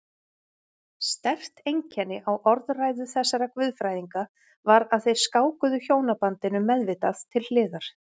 Sterkt einkenni á orðræðu þessara guðfræðinga var að þeir skákuðu hjónabandinu meðvitað til hliðar.